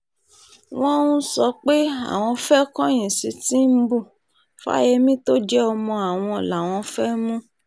wọ́n ń sọ pé àwọn fẹ́ẹ́ kọ̀yìn sí tìǹbù fáyẹ́mì tó jẹ́ ọmọ àwọn làwọn fẹ́ẹ́ mú